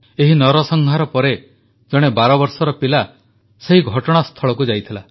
ଏହି ନରସଂହାର ପରେ ଜଣେ ବାରବର୍ଷର ପିଲା ସେହି ଘଟଣାସ୍ଥଳକୁ ଯାଇଥିଲା